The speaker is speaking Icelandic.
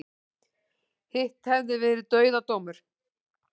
Hitt hefði verið dauðadómur